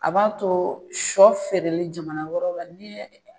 A b'a to sɔ feereli jamana wɛrɛw la ni